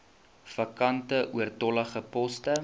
vakante oortollige poste